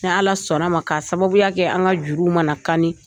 Ni ala sɔnna ma, ka sababuya kɛ an ka juruw ma na kanni.